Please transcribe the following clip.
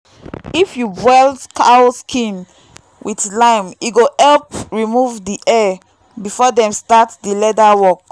if you boil cow skin with lime e go help remove the hair before dem start the leather work.